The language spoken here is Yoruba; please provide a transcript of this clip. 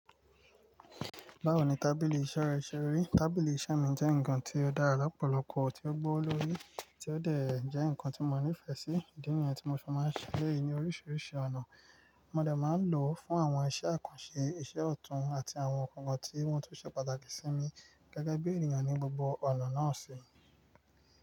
Báwo ni tábìlì iṣẹ́ rẹ ṣe rí? Tábìlì iṣẹ́ mi jẹ́ nǹkan ti ó dára lọ́pọ̀lọpọ̀, tó gbówó lórí, tí ó dè jẹ́ ǹkan tí mo nífẹ̀ẹ́ sí. Ìdí nìyẹn tí mo ṣe máa ń ṣe elẹ́yì ní oríṣiríṣi ọ̀nà. Mo de máa ń lò ó fún àwọn iṣẹ́ àkànṣe, iṣẹ́ ọ̀tún àti àwọn nǹkan kan tí wọ́n tún ṣe pàtàkì sí mi gẹ́gẹ́ bí ènìyàn ní gbogbo ọ̀nà náà ṣe.